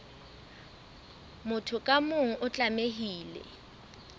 motho ka mong o tlamehile